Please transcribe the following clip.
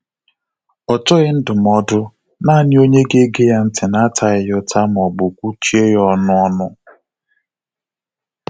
Ọ chọghị ndụmọdụ, nanị onye ga ege ya ntị na ataghi ya uta ma ọbụ kwuchie ya ọnụ ọnụ